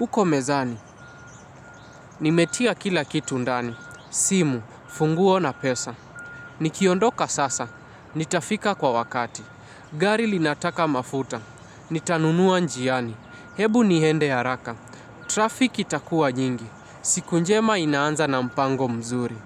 uko mezani. Nimetia kila kitu ndani. Simu, funguo na pesa. Nikiondoka sasa, nitafika kwa wakati. Gari linataka mafuta. Nitanunua njiani, hebu niende haraka, trafik itakuwa nyingi, siku njema inaanza na mpango mzuri.